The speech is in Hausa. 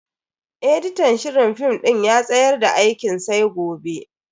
editan shirin film din ya tsayar da aikin sai gobe.